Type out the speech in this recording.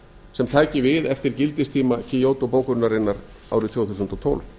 sem taki við eftir gildistíma kyoto bókunarinnar árið tvö þúsund og tólf